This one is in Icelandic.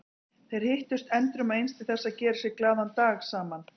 Þeir hittust endrum og eins til þess að gera sér glaðan dag saman.